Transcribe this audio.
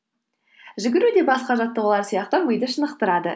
жүгіру де басқа жаттығулар сияқты миды шынықтырады